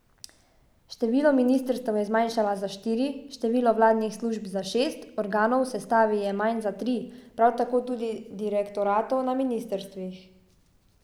Število ministrstev je zmanjšala za štiri, število vladnih služb za šest, organov v sestavi je manj za tri, prav tako tudi direktoratov na ministrstvih.